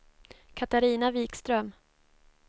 Katarina Wikström